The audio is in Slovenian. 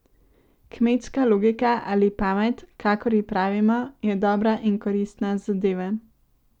Kmečka logika ali pamet, kakor ji pravimo, je dobra in koristna zadeva.